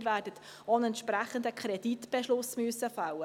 Sie werden auch einen entsprechenden Kreditbeschluss fällen müssen.